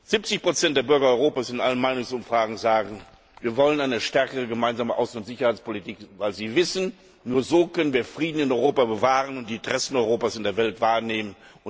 70 der Bürger Europas in allen Meinungsumfragen sagen, sie wollen eine stärkere gemeinsame Außen und Sicherheitspolitik, weil sie wissen, nur so können wir Frieden in Europa bewahren und die Interessen Europas in der Welt wahrnehmen.